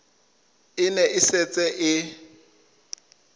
e ne e setse e